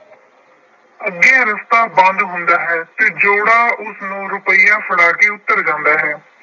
ਅੱਗੇ ਰਸਤਾ ਬੰਦ ਹੁੰਦਾ ਹੈ ਤੇ ਜੋੜਾ ਉਸਨੂੰ ਰੁਪਇਆ ਫੜਾ ਕੇ ਉਤਰ ਜਾਂਦਾ ਹੈ।